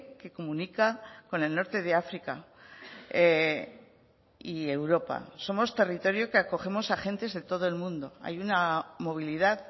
que comunica con el norte de áfrica y europa somos territorio que acogemos a gentes de todo el mundo hay una movilidad